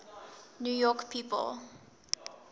new york people